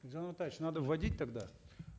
елжан амантаевич надо вводить тогда